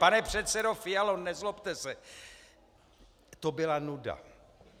Pane předsedo Fialo, nezlobte se, to byla nuda.